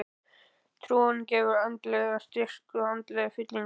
Trúin gefur andlegan styrk og andlega fyllingu.